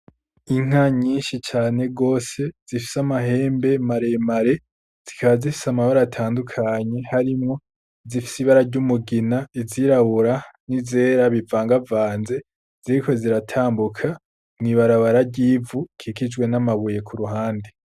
Inka nyinshi cane rwose zifise amahembe maremare zikaazifise amabare atandukanye harimwo zifisa ibara ry'umugina izirabura ni zera bivangavanze zirike ziratambuka mw'ibarabara ryivu kikijwe n'amabuye ku ruhande.